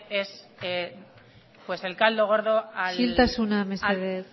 es el caldo gordo al señor maroto isiltasuna mesedez